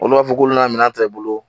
Olu b'a fɔ k'ulu na minɛn ta i bolo